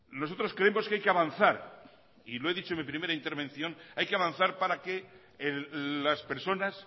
nosotros creemos que hay que avanzar y lo he dicho en mi primera intervención hay que avanzar para que las personas